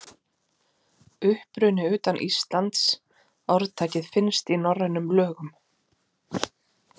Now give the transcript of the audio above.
Uppruni utan Íslands Orðtakið finnst í norrænum lögum.